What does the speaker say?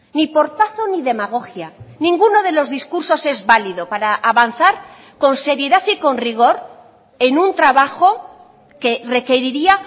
ni portazo ni demagogia ninguno de los discursos es válido para avanzar con seriedad y con rigor en un trabajo que requeriría